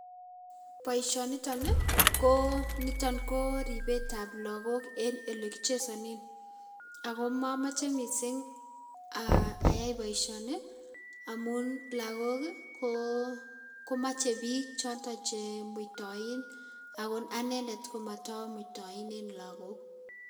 Boishoo niton koo niton koo ribet ab lakok en ole kichezonen ako momoche missing ayay boishoni amun lakok koo komoche bik che mutoin ako anendet komoto mutoin en lakok